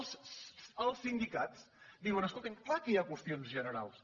els sindicats diuen escolta’m clar que hi ha qüestions generals